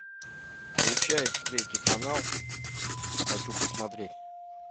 включай третий канал хочу посмотреть